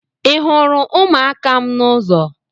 Ịhụrụ umuaka m n’ụzọ?